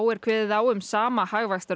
er kveðið á um sama